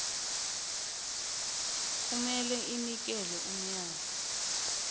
kumele inikele umyalo